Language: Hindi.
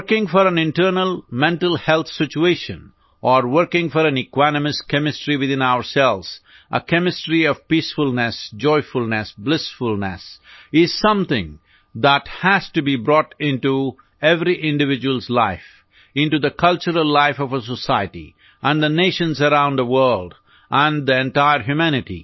working for an internal mental health situation or working for an equanimous chemistry within ourselves a chemistry of peacefulness joyfulness blissfulness is something that has to be brought into every individual's life into the cultural life of a society and the nations around the world and the entire humanity